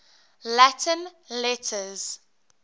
latin letters